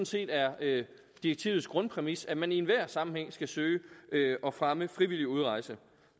set er direktivets grundpræmis at man i enhver sammenhæng skal søge at fremme frivillig udrejse